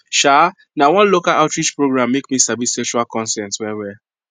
um na one local outreach program make me sabi sexual consent well well